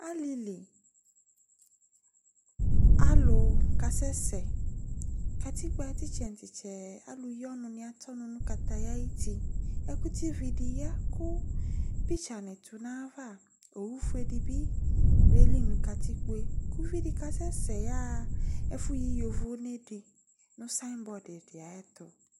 Alili alu kasɛsɛ katikpo ayu titsɛ titsɛ alu yi ɔnu nu kataya ayu uti ɛkutɛ vi di ya ku picture ni tu nu ayava owu fʊe bi yeli nu katikpo tu ku uvidi kasɛsɛ aɣa nu ɛfuyi yovonɛ di nu some body di tʊ